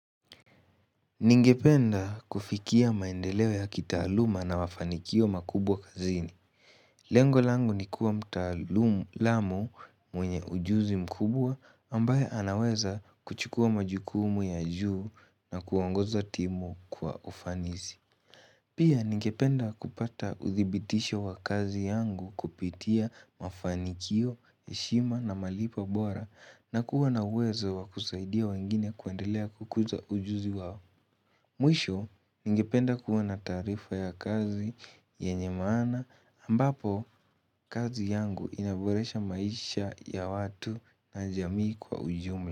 Ningependa kufikia maendeleo ya kitaaluma na mafanikio makubwa kazini. Lengo langu ni kuwa mtaalamu mwenye ujuzi mkubwa ambaye anaweza kuchukua majukumu ya juu na kuwaongoza timu kwa ufanisi. Pia ningependa kupata uthibitisho wa kazi yangu kupitia mafanikio, heshima na malipo bora na kuwa na uwezo wa kusaidia wengine kuendelea kukuza ujuzi wao. Mwisho ningependa kuwa na taarifa ya kazi yenye maana ambapo kazi yangu inaboresha maisha ya watu na jamii kwa ujumla.